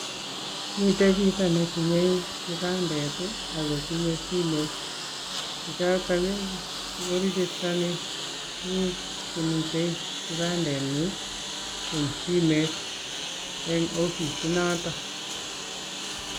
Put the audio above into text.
Miten chito netinye kipandet ak kotinye simeet, Choton ko kakirijostonii tuguk chemi kipandenyin en simet en ofisinoton